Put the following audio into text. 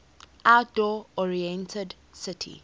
outdoor oriented city